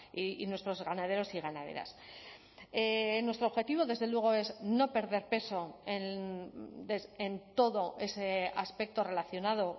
y nuestros ganaderos y ganaderas nuestro objetivo desde luego es no perder peso en todo ese aspecto relacionado